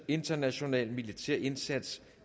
international militær indsats